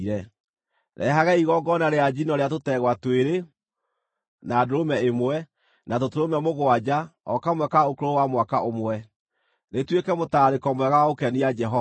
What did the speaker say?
Rehagai igongona rĩa njino rĩa tũtegwa twĩrĩ, na ndũrũme ĩmwe, na tũtũrũme mũgwanja o kamwe ka ũkũrũ wa mwaka ũmwe, rĩtuĩke mũtararĩko mwega wa gũkenia Jehova.